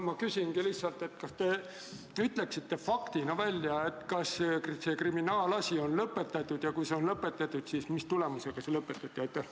Ma küsingi lihtsalt: kas te ütleksite faktina välja, kas see kriminaalasi on lõpetatud ja kui see on lõpetatud, siis mis tulemusega see lõpetati?